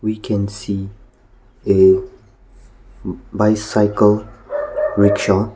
we can see a bicycle rickshaw.